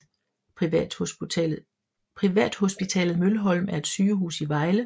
Privathospitalet Mølholm er et sygehus i Vejle